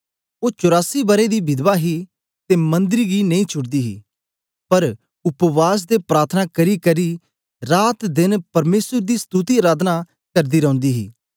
ओ चौरासी बरें दी विधवा ही ते मंदर गी नेई छुड़दी ही पर उपवास ते प्रार्थना करीकरी रातदेन परमेसर दी स्तुति अराधना करदी रौंदी ही